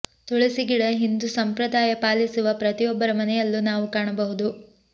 ತುಳಸಿ ಗಿಡ ಹಿಂದೂ ಸಂಪ್ರದಾಯ ಪಾಲಿಸುವ ಪ್ರತಿಯೊಬ್ಬರ ಮನೆಯಲ್ಲೂ ನಾವು ಕಾಣಬಹುದು